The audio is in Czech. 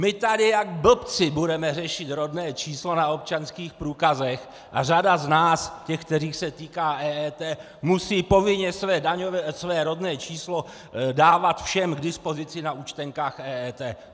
My tady jak blbci budeme řešit rodné číslo na občanských průkazech a řada z nás, těch, kterých se týká EET, musí povinně své rodné číslo dávat všem k dispozici na účtenkách EET!